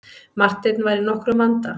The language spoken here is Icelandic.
Marteinn var í nokkrum vanda.